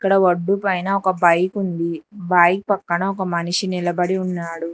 ఈడ వడ్డు పైన ఒక బైక్ ఉంది బైక్ పక్కన మనిషి నిలబడి ఉన్నాడు.